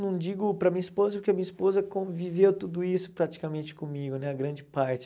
Não digo para a minha esposa, porque a minha esposa conviveu tudo isso praticamente comigo né, a grande parte.